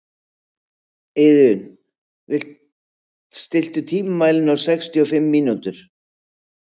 Iðunn, stilltu tímamælinn á sextíu og fimm mínútur.